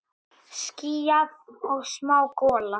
Skýjað og smá gola.